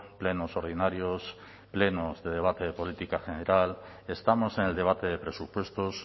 plenos ordinarios plenos de debate de política general estamos en el debate de presupuestos